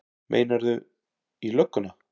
Meinarðu. í lögguna?